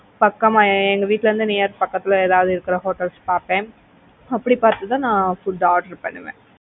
பக்கமா எங்க வீட்ல இருந்து near பக்கத்துல இருக்கிற ஏதாவது hotels பாப்பேன் அப்படி பார்த்து தான் நான் food order பண்ணுவேன்.